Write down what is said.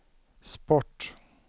sport